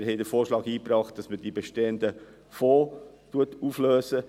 Wir haben den Vorschlag eingebracht, die bestehenden Fonds aufzulösen.